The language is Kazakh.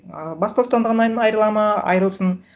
ыыы бас бостандығынан айырылады ма айырылсын